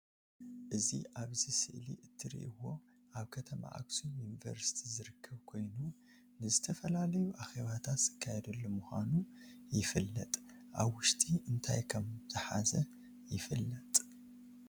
አዚ አብዚ ስእሊ ትርእዎ አብ ከተማ አክሱም ዪንቨርስቲ ዝርከብ ኮይኑ ንዝተፈላለዪ አኼባታት ዝካየደሉ ምዃኑ ይፈለጥ። አብ ዉሽጢ እንታይ ከምዛሓዘ ይፈለጥ